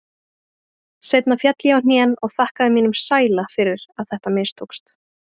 Seinna féll ég á hnén og þakkaði mínum sæla fyrir að þetta mistókst.